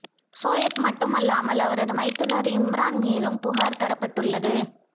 சோயப் மட்டுமல்லாமல் அவரது மைத்துனர் இம்ரான் மீதும் புகார் தரப்பட்டுள்ளது